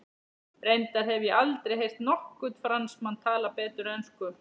Reyndar hef ég aldrei heyrt nokkurn Fransmann tala betur ensku.